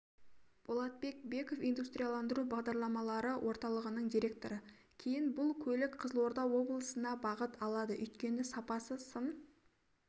болатбек беков индустрияландыру бағдарламалары орталығының директоры кейін бұл көлік қызылорда облысына бағыт алады өйткені сапасы сын